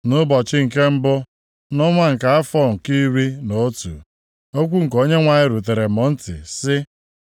Nʼụbọchị nke mbụ nʼọnwa, nʼafọ nke iri na otu, okwu nke Onyenwe anyị rutere m ntị sị,